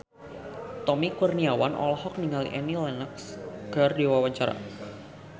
Tommy Kurniawan olohok ningali Annie Lenox keur diwawancara